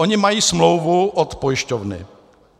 Oni mají smlouvu od pojišťovny.